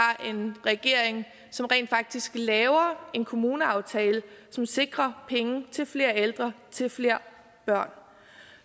en regering som rent faktisk laver en kommuneaftale som sikrer penge til flere ældre til flere børn